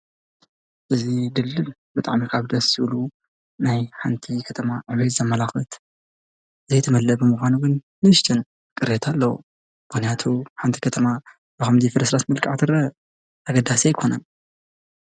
እዚ ድልድል ብጣዕሚ ደስ ካብ ዝብሉ ናይ ሓንቲ ከተማ ዕብየት ዘመላኽት ዘይተመለአ ብምኳኑ ግን ንእሽተይ ቅሬታ ኣለዎ፡፡ ምክንያቱ ሓንቲ ከተማ ብከምዚ ፍርስራስ መልክዕ ትረአ ኣገዳሲ ኣይኮነን፡፡